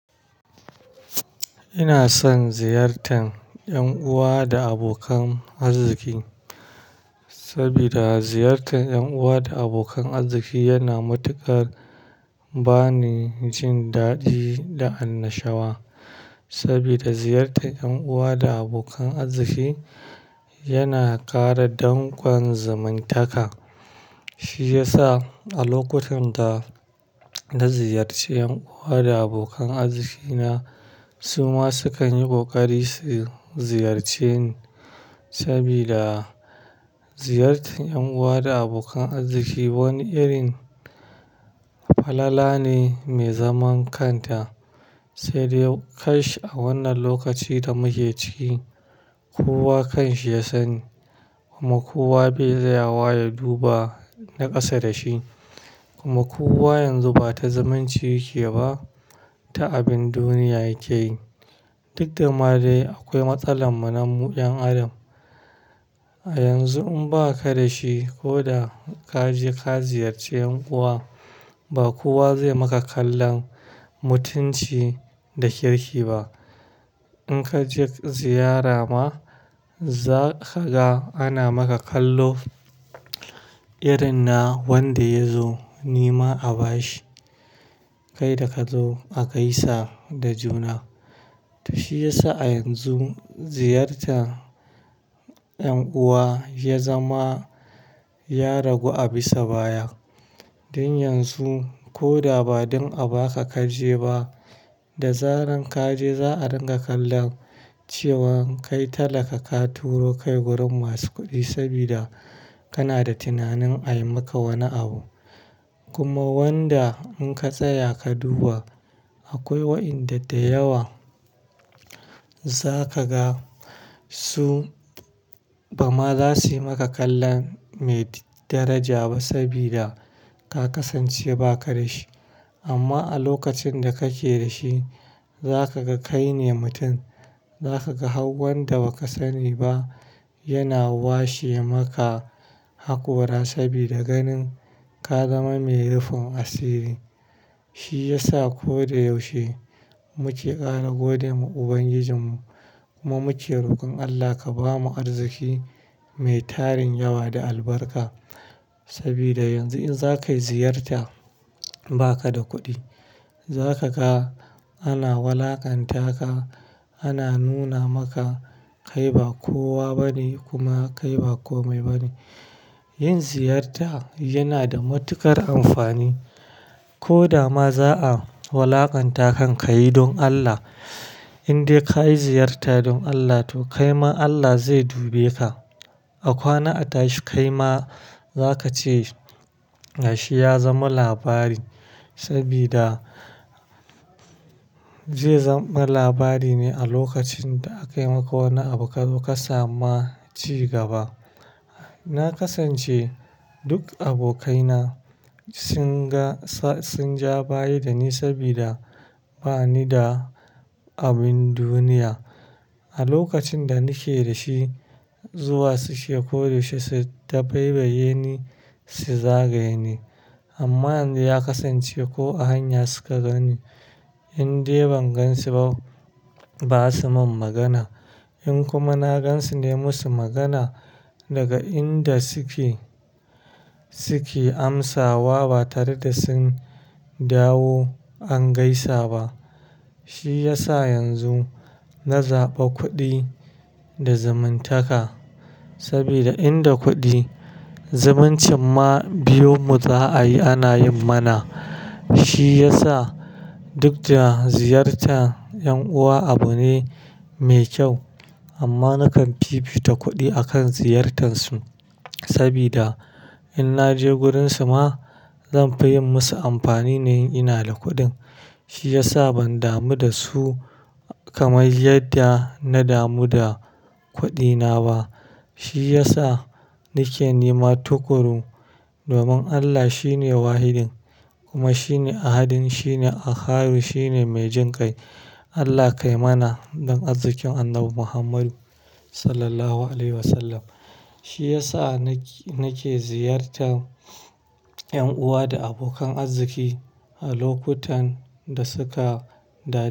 Ina son ziyartar ƴan uwa da abokan arziki, saboda ziyartar ƴan uwa da abokan arziki yana matuƙar bani jin daɗi da annashawa. Saboda ziyartar ƴan uwa da abokan arziki yana ƙara dangon zamantaka. Shi ya sa a lokutan da na ziyarci ƴan uwa da abokan arziki na, su ma sukan yi ƙoƙari su ziyarce ni. Saboda ziyartar ƴan uwa da abokan arziki wani irin falala ne mai zaman kanta. Sai dai kash a wannan lokaci da muke ciki, kowa kan shi ya sani. Kuma kowa bai da yawa ya duba na ƙasa da shi. Kuma kowa yanzu ba ta zumunci yake ba ta abin duniya yake yi. Duk da ma dai akwai matsalar mu na mu ƴan adam. A yanzu in ba ka da shi ko da ka je ka ziyarci ƴan uwa, ba kowa zai maka kallon mutunci da kirki ba. In ka je ziyara ma, za ka ga ana maka kallo irin na wanda ya zo ni ma a ba shi. Kai da ka zo a gaisa da juna. Shi ya sa a yanzu ziyartar ƴan uwa ya zama ya ragu a bisa baya. Don yanzu ko da ba don a ba ka ka je ba, da zaran ka je za a dinga kalla cewa kai talaka ka turo kai wurin masu kuɗi saboda kana da tunanin a yi maka wani abu. Kuma wanda in ka tsaya ka duba, akwai waɗanda da yawa za ka ga su ba ma za su yi maka kallon mai daraja ba saboda ka kasance ba ka da shi. Amma a lokacin da kake da shi, za ka ga kai ne mutum. Za ka ga hauwan da ba ka sani ba yana washe maka hakora saboda ganin ka zama mai rufin asiri. Shi ya sa ko da yaushe muke ƙara gode wa Ubangijinmu. Kuma muke rokon Allah ka bamu arziki mai tarin yawa da albarka. Saboda yanzu in za ka yi ziyarta ba ka da kuɗi, za ka ga ana wulaƙanta ka, ana nuna maka kai ba kowa ba ne kuma kai ba kome ba ne. Yin ziyarta yana da matuƙar amfani. Ko da ma za a wulaƙanta ka, ka yi don Allah. In dai ka yi ziyarta don Allah to kai ma Allah zai dubi ka. A kwana atashi kai ma za ka ce gashi ya zama labari. Saboda zai zama labari ne a lokacin da aka yi maka wani abu kazo ka sama ci gaba. Na kasance duk abokaina sun ga, sun ja baya da ni saboda ba ni da abin duniya. A lokacin da nake da shi zuwa suke koda yaushe, su ta dabaibaye ni, su zagaye ni. Amma yanzu ya kasance ko a hanya suka gani in dai ban gan su ba, ba su min magana. In kuma na gan su ne, musu magana daga inda suke, suke amsawa ba tare da sun dawo an gaisa ba. Shi ya sa yanzu na zaɓi kuɗi da zamantaka. Saboda inda kuɗi, zumunci ma biyun mu za a yi ana yin mana. Shi ya sa duk da ziyartar ƴan uwa abu ne mai kyau, amma na kan fifita kuɗi a kan ziyartar su. Saboda in na je wurin su ma, zan fi yin musu amfani na yin ina da kuɗin. Shi ya sa ban damu da su kamar yadda na damu da kuɗina ba. Shi ya sa nake nema tukuru domin Allah shine Wahidin kuma shine Ahadin, shine Akhad, shine mai jin kai. Allah kai mana don arzikin Annabi Muhammadu sallallahu alaihi wasallam. Shi ya sa nake, nake ziyartar ƴan uwa da abokan arziki a lokutan da suka daɗa.